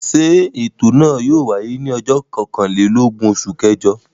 Ṣé ètò náà yóò wáyé ní ọjọ́ kọkànlélógún oṣù kẹjọ?